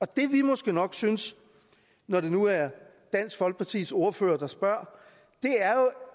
det vi måske nok synes når det nu er dansk folkepartis ordfører der spørger